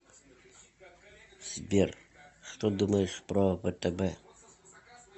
сбер что думаешь про втб